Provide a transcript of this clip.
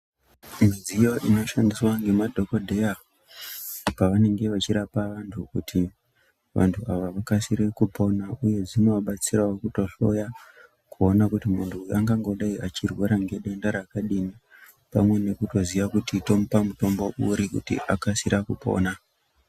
Midziyo inoshandiswa ngemadhokodheya pavanenge vachirapa vantu kuti vantu ava vakasire kupona uye zvinovabatsirawo kutohloya kuona kuti muntu uyu angangove achirwara ngedenda rakadini pamwe nekutoziya kuti tomupa mutombo uri kuti akasire kupona .